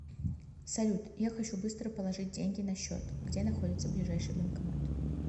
салют я хочу быстро положить деньги на счет где находится ближайший банкомат